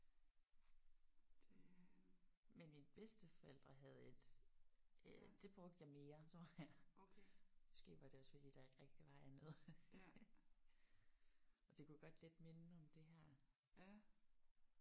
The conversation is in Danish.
Men mine bedsteforældre havde et. Øh det brugte jeg mere tror jeg. Måske var det også fordi der ikke rigtigt var andet. Og det kunne godt lidt minde om det her